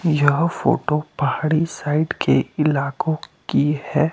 यह फोटो पहाड़ी साइड के इलकों की है।